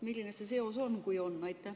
Milline see seos on, kui on?